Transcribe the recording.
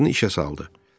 Maşını işə saldı.